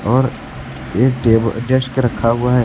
और एक टेब डेस्क रखा हुआ है।